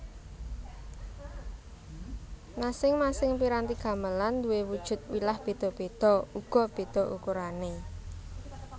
Masing masing piranti gamelan nduwe wujud wilah beda beda uga beda ukurane